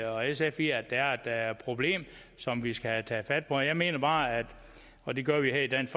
og sf i at der er et problem som vi skal have taget fat på jeg mener bare og det gør vi her i dansk